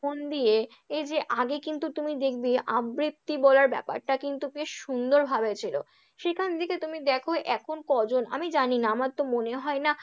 মন দিয়ে এই যে আগে কিন্তু তুমি দেখবে আবৃত্তি বলার ব্যাপারটা কিন্তু বেশ সুন্দরভাবে ছিল, সেখান থেকে তুমি দেখো এখন কজন আমি জানি না, আমার তো মনে হয় না,